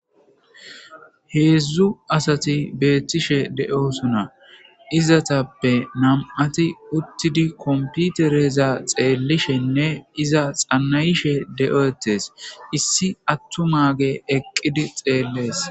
heedzdzu asati beettishe de'osona izatappe nam'ati uttidi komputereza xeellishenne iza xannayishe de'etees issi attumaage eqqidi xeellees